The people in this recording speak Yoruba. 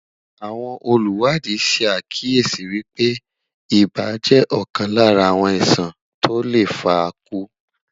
àwọn oluwadi sá kíyèsi wípé ibà jẹ ọkan Lára àwọn iṣan to le faku